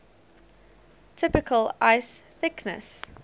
typical ice thickness